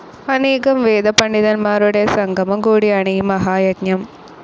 അനേകം വേദപണ്ഡിതന്മാരുടെ സംഗമം കൂടിയാണ് ഈ മഹായജ്ഞം.